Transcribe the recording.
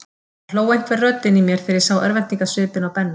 Það hló einhver rödd inni í mér þegar ég sá örvæntingarsvipinn á Benna.